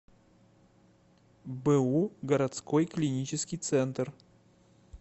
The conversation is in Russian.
бу городской клинический центр